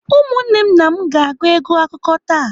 Ụmụnne na m ga-agụ egwu akụkọ taa.